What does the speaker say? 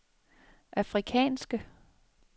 afrikanske